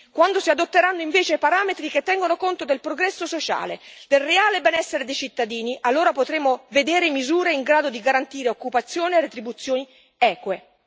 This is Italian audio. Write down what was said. Quando si adotteranno invece parametri che tengono conto del progresso sociale e del reale benessere dei cittadini, allora potremo vedere misure in grado di garantire occupazione e retribuzioni eque.